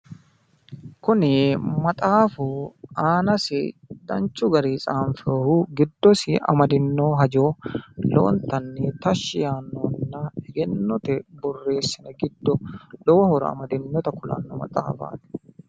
kuni maxaafu aanasi danchu garinni xaanfoyihu giddosi amadino hajo lowontanni tashshi yaannohuna eegennote borreesinooni giddo lowo horo amadinota kulanno maxaafaati.